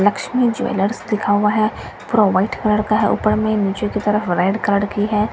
Lakshmi jewellers लिखा हुआ है पूरा व्हाइट कलर का है ऊपर में और नीचे रेड कलर की है रेड कलर --